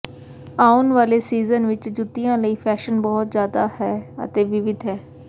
ਆਉਣ ਵਾਲੇ ਸੀਜ਼ਨ ਵਿੱਚ ਜੁੱਤੀਆਂ ਲਈ ਫੈਸ਼ਨ ਬਹੁਤ ਜ਼ਿਆਦਾ ਹੈ ਅਤੇ ਵਿਵਿਧ ਹੈ